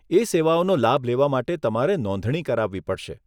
એ સેવાઓનો લાભ લેવા માટે તમારે નોંધણી કરાવવી પડશે.